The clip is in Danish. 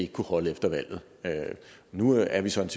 kunne holde efter valget nu er vi så i